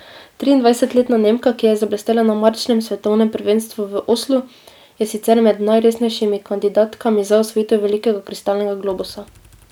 Triindvajsetletna Nemka, ki je zablestela na marčnem svetovnem prvenstvu v Oslu, je sicer med najresnejšimi kandidatkami za osvojitev velikega kristalnega globusa.